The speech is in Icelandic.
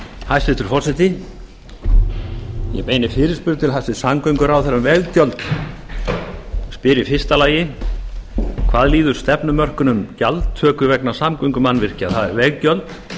hæstvirtur forseti ég beini fyrirspurn til hæstvirts samgönguráðherra um veggjöld spyr í fyrsta lagi fyrstu hvað líður stefnumörkun um gjaldtöku vegna samgöngumannvirkja það er veggjöld